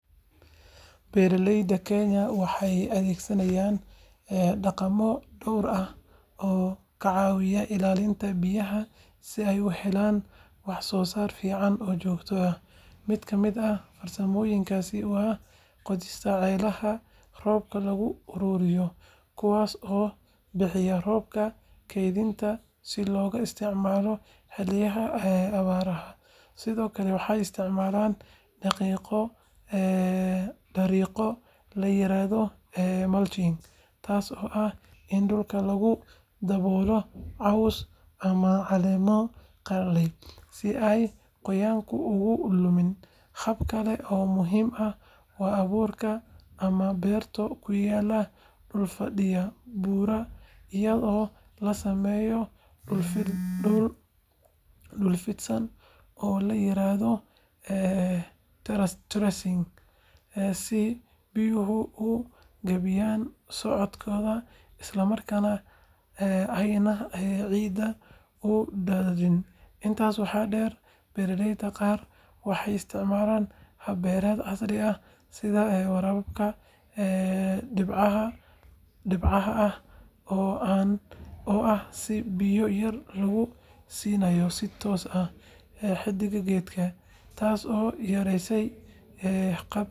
Beeralayda Kenya waxay adeegsadaan dhaqamo dhowr ah oo ka caawinaya ilaalinta biyaha si ay u helaan waxsoosaar fiican oo joogto ah. Mid ka mid ah farsamooyinkaasi waa qodista ceelasha roobka lagu ururiyo, kuwaas oo biyaha roobka kaydiya si loogu isticmaalo xilliyada abaaraha. Sidoo kale, waxay isticmaalaan dariiqo la yiraahdo “mulching,” taas oo ah in dhulka lagu daboolo caws ama caleemo qalalay si aan qoyaanku uga lumin. Hab kale oo muhiim ah waa abuurka ama beero ku yaalla dhul fadhiya buuraha, iyadoo la sameeyo dhul fidsan oo la yiraahdo “terracing” si biyuhu u gaabiyaan socodkooda isla markaana aanay ciidda u daadinin. Intaas waxaa dheer, beeralayda qaar waxay isticmaalaan hab beereed casri ah sida waraabka dhibcaha ah, oo ah in biyo yar lagu siidaayo si toos ah xididka geedka, taasoo yareyneysa khasaaraha biyaha. Dhammaan dhaqamadan waxay gacan ka geystaan ilaalinta kheyraadka biyaha iyo kordhinta waxsoosaarka beeraha iyadoo la dhimayo halista abaaraha.